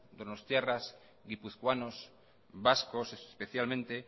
donostiarras guipuzcoanos vascos especialmente